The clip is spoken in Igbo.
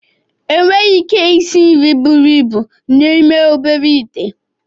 Enweghị ike isi nri buru ibu n'ime obere ite